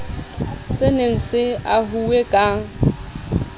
se ne se ahuwe ka